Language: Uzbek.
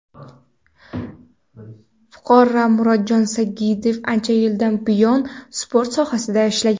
Fuqaro Murodjon Sagdiyev ancha yildan buyon sport sohasida ishlagan.